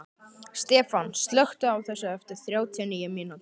Stefan, slökktu á þessu eftir þrjátíu og níu mínútur.